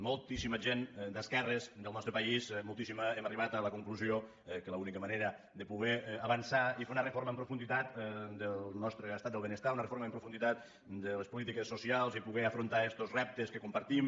moltíssima gent d’esquerres del nostre país moltíssima hem arribat a la conclusió que l’única manera de poder avançar i fer una reforma en profunditat del nostre estat del benestar una reforma en profunditat de les polítiques socials i poder afrontar estos reptes que compartim